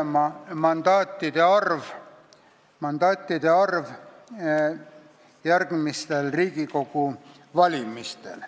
on mandaatide arv järgmistel Riigikogu valimistel.